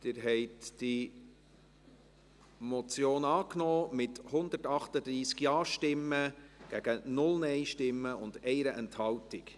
Sie haben diese Motion angenommen, mit 138 Ja- gegen 0 Nein-Stimmen bei 1 Enthaltung.